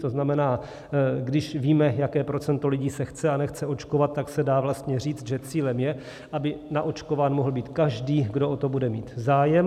To znamená, když víme, jaké procento lidí se chce a nechce očkovat, tak se dá vlastně říct, že cílem je, aby naočkován mohl být každý, kdo o to bude mít zájem.